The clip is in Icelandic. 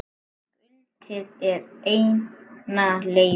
Skutlið er eina leiðin.